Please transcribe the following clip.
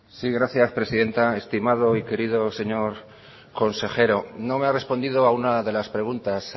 gracias presidenta estimado y querido señor consejero no me ha respondido a una de las preguntas